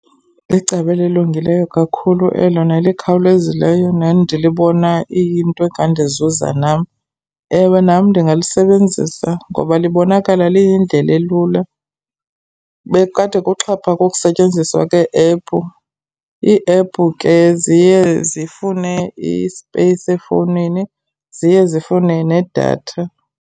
Licebo elilungileyo kakhulu elo nelikhawulezileyo nendilibona iyinto engandizuza nam. Ewe, nam ndingalisebenzisa ngoba libonakala liyindlela elula. Bekukade kuxhaphake ukusetyenziswa kwe-ephu. Iiephu ke ziye zifune i-space efowunini, ziye zifune nedatha.